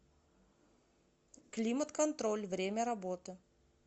климат контроль время работы